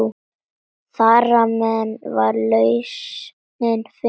Þarmeð var lausnin fundin.